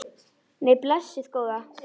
Nei, blessuð góða.